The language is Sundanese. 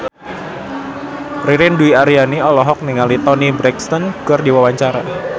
Ririn Dwi Ariyanti olohok ningali Toni Brexton keur diwawancara